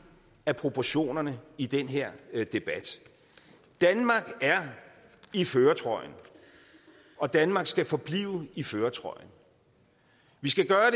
af proportionerne i den her debat danmark er i førertrøjen og danmark skal forblive i førertrøjen vi skal